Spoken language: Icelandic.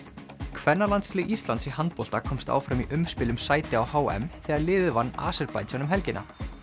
kvennalandslið Íslands í handbolta komst áfram í umspil um sæti á h m þegar liðið vann Aserbaídsjan um helgina